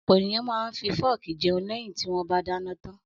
Ọ̀pọ̀ ènìyàn máa ń fi fọ́ọ́kì jẹun lẹ́yìn tí wọ́n bá dáná tán.